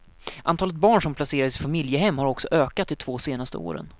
Antalet barn som placeras i familjehem har också ökat de två senaste åren.